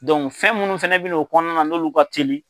fɛn minnu fana bɛ n'o kɔnɔna na n'olu ka teli